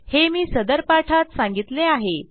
हे मी सदर पाठात सांगितले आहे